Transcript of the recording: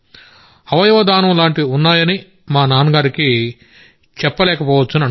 అవయవ దానం లాంటివి ఉన్నాయని మా నాన్నగారికి చెప్పలేక పోవచ్చని అనుకున్నాం